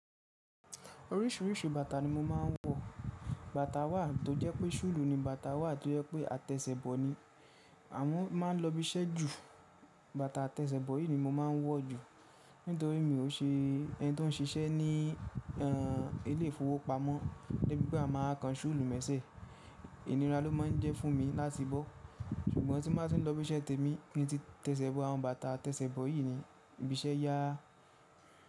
Orísìírísìí bàtà ni mo máa ń wọ. Bàtà wà tó jẹ́ pé soolù ni, bàtà wà tó jẹ́ pé àtẹ̀ṣẹ̀bọ̀ ni. Àwọn máa ń lọ ibi iṣẹ́ jù, bàtà àtẹ̀ṣẹ̀bọ̀ yìí ni mo máa ń wọ jù. Nítorí mi ò ṣe ẹni tó ń ṣiṣẹ́ ní e, ilé ifowópamọ́ de bí pe a má wa kan ṣúlù mẹ́sẹ̀. Ìnira ló máa ń jẹ́ fún mi láti bọ́. Ṣùgbọ́n tí mo bá ti ń lọ ibi iṣẹ́ tèmi ki n ti tẹ̀ṣẹ̀bọ̀, àwọn bàtà tẹ̀ṣẹ̀bọ̀ yìí ni. Ibi iṣẹ́ yà á.